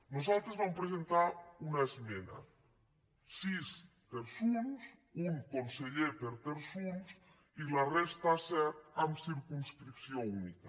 nosaltres vam presentar una esmena sis terçons un conseller per terçons i la resta set amb circums·cripció única